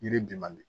Yiri bi man di